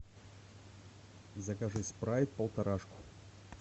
закажи спрайт полторашку